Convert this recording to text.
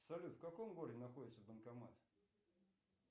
салют в каком городе находится банкомат